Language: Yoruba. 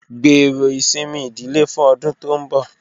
Gbero isinmi idile fun ọdun to nbọ